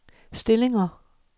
stillinger